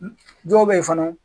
Dɔw bɛ yen fana.